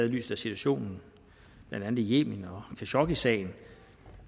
i lyset af situationen i yemen og khashoggisagen